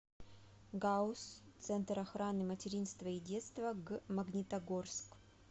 гауз центр охраны материнства и детства г магнитогорск